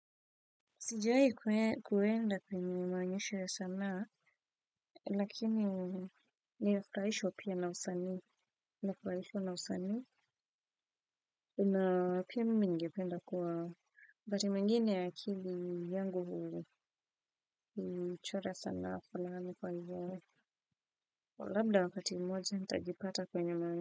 Sijai kuenda kwenye maonyesho ya sanaa, lakini nifueahishwa pia na usani, nifurahishw na usani, na oia mimi ningependa kuwa. Wakati mwingine akili huchora sanaa landa wakati mmoja nitajipata kwenye maonyesho.